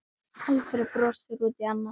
Alfreð brosir út í annað.